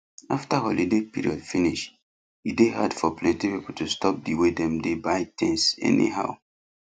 after holiday period finish e dey dey hard for plenty people to stop the way dem dey buy things anyhow